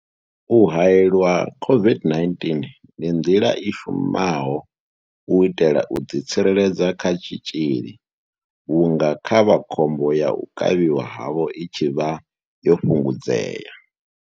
U haelelwa COVID-19 ndi nḓila i shumaho u itela u ḓi tsireledza kha tshitzhili vhunga khavha khombo ya u kavhiwa havho i tshi vha yo fhungudzea.